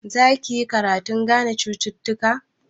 Za ki yi karatun gane cututtuka?